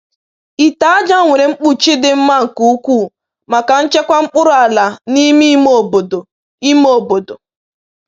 Ite aja nwere mkpuchi dị mma nke ukwuu maka nchekwa mkpụrụ ala n’ime ime obodo. ime obodo.